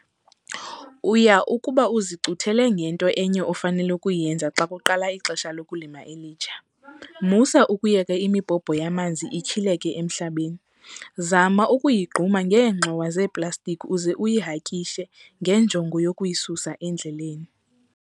Uya kuba uzicuthele ngento enye ofanele ukuyenza xa kuqala ixesha lokulima elitsha. Musa ukuyeka imibhobho yamanzi ityhileke emhlabeni. Zama ukuyigquma ngeengxowa zeeplastikhi uze uyihakishe ngenjongo yokuyisusa endleleni.